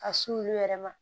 Ka s'olu yɛrɛ ma